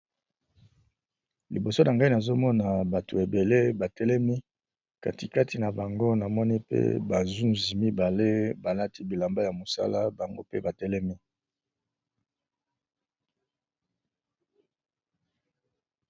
Liboso nangai nazomona bantu ebele batelemi katikati nabango namoni ba nzuzi mibale balati bilamba yamosala bango pe batelemi.